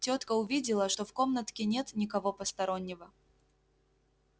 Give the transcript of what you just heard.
тётка увидела что в комнатке нет никого постороннего